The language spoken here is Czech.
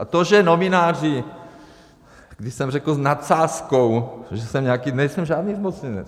A to, že novináři, když jsem řekl s nadsázkou, že jsem nějaký - nejsem žádný zmocněnec.